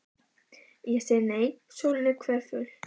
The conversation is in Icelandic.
Ég segi nei, sólin er hverful.